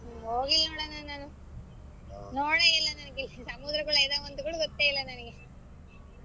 ಹೋಗಿಲಣ್ಣಾ ನೋಡ್ ನಾನು ನೋಡೇ ಇಲ್ಲಾ ನನಗೆ ಸಮುದ್ರಗಳು ಇದವಂತ ಕೂಡಾ ಗೊತ್ತೇ ಇಲ್ಲಾ ನನಗೆ